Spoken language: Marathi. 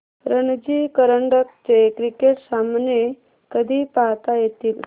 रणजी करंडक चे क्रिकेट सामने कधी पाहता येतील